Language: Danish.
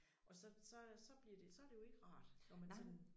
Og så så øh så bliver det så det jo ikke rart når man sådan